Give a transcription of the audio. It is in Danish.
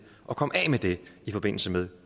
at komme af med det i forbindelse med